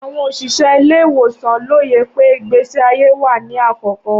Awọn oṣiṣẹ ile-iwosan loye pe igbesi aye wa ni akọkọ.